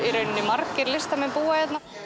margir listamenn búa hérna